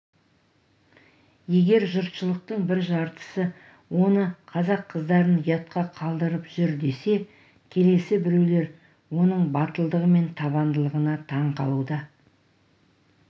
егер жұртшылықтың бір жартысы оны қазақ қыздарын ұятқа қалдырып жүр десе келесі біреулер оның батылдығы мен табандылығына таң қалуда